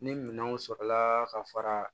Ni minɛnw sɔrɔla ka fara